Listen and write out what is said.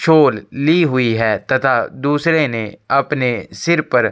शोल ली हुई है तथा दूसरे ने अपने सिर पर --